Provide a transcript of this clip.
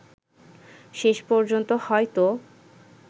শেষ পর্যন্ত হয়তো